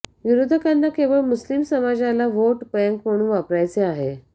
विरोधकांना केवळ मुस्लिम समाजाला व्होट बँक म्हणून वापरायचे आहे